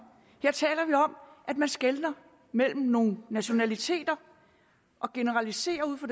at man skelner mellem nogle nationaliteter og generaliserer ud fra